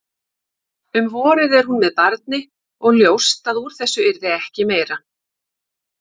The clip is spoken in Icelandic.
Um vorið er hún með barni og ljóst að úr þessu yrði ekki meira.